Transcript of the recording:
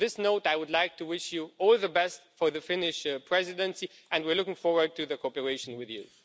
On this note, I would like to wish you all the best for the Finnish Presidency and we're looking forward to cooperating with you.